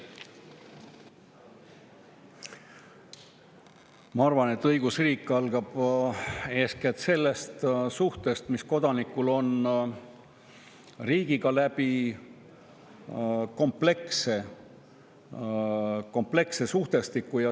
Ma arvan, et õigusriik algab eeskätt sellest suhtest, mis kodanikul on riigiga läbi kompleksse suhtestiku.